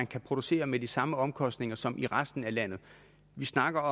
kan producere med de samme omkostninger som i resten af landet vi snakker